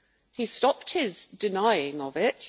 He has stopped his denying of it.